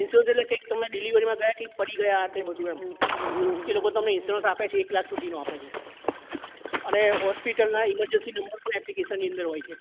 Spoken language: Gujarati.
ઇન્સ્યોરન્સ એટલે તમે delivery માં ગયા કંઈક પડી ગયા કે એમ એ લોકો તમને ઇન્સ્યોરન્સ આપે છે એક લાખ સુધી નો આપે છે અને હોસ્પિટલ ના emergency number પણ application ની અંદર હોય છે